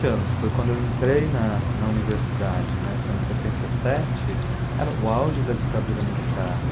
anos, foi quando eu entrei na na universidade né, foi em setenta e sete, era o auge da ditadura militar.